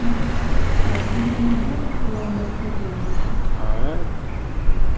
мой дорогой сатт вы ведь не ждёте что я вам расскажу об этом